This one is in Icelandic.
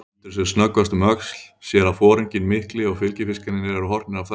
Lítur sem snöggvast um öxl, sér að foringinn mikli og fylgifiskarnir eru horfnir af þakinu.